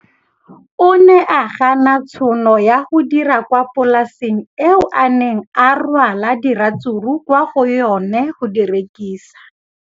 O ne a gana tšhono ya go dira kwa polaseng eo a neng rwala diratsuru kwa go yona go di rekisa.